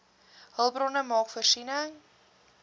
hulpbronne maak voorsiening